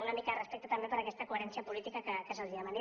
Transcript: una mica de respecte també per aquesta coherència política que se’ls demana